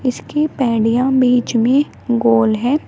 इसकी पैडिया बीच में गोल हैं।